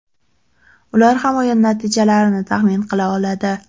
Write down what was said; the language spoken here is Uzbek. Ular ham o‘yin natijalarini taxmin qila oladi.